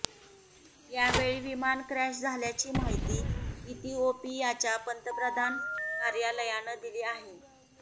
यावेळी विमान क्रॅश झाल्याची माहिती इथिओपीयाच्या पंतप्रधान कार्यालयानं दिली आहे